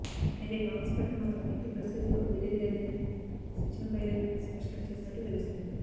అయితే కాంగ్రెస్ పార్టీని మాత్రం ఎట్టి పరిస్థితుల్లో వీడేది లేదని సచిన పైలట్ స్పష్టం చేసినట్లు తెలుస్తోంది